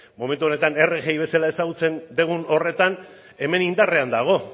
momentu honetan rgi bezala ezagutzen dugun horretan hemen indarrean dago